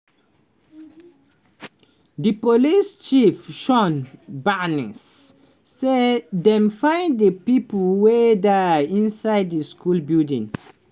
di police chief shon barnes say dem find di pipo wey die inside di school building.